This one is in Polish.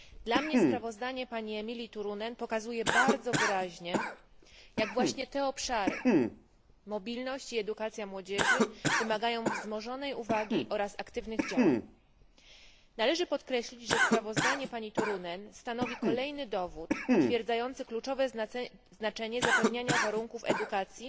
Dla mnie sprawozdanie pani Emilie Turunen pokazuje bardzo wyraźnie, jak właśnie te obszary mobilność i edukacja młodzieży wymagają wzmożonej uwagi oraz aktywnych działań. Należy podkreślić, że sprawozdanie pani Turunen stanowi kolejny dowód potwierdzający kluczowe znaczenie zapewniania warunków edukacji